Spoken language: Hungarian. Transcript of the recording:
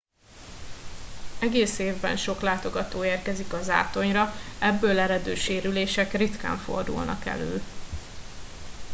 egész évben sok látogató érkezik a zátonyra ebből eredő sérülések ritkán fordulnak elő